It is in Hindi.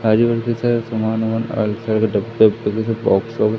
आजू बाजू के साइड सामान वमान डब्बे बॉक्स --